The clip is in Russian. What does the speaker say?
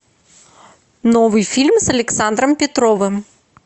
новый фильм с александром петровым